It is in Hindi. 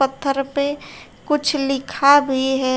पत्थर पे कुछ लिखा भी है।